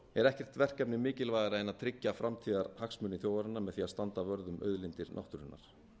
er ekkert verkefni mikilvægara en að tryggja framtíðarhagsmuni þjóðarinnar með því að standa vörð um auðlindir náttúrunnar